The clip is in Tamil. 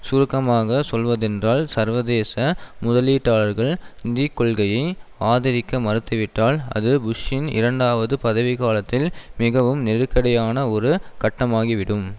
சுருக்கமாக சொல்வதென்றால் சர்வதேச முதலீட்டாளர்கள் நிதி கொள்கையை ஆதரிக்க மறுத்துவிட்டால் அது புஷ்ஷின் இரண்டாவது பதவி காலத்தில் மிகவும் நெருக்கடியான ஒரு கட்டமாகிவிடும்